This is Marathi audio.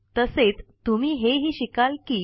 तसेच तुम्ही हे ही शिकाल कि